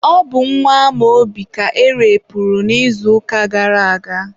ọ bụ nwa Amaobi ka erepuru n'izuụka gara aga.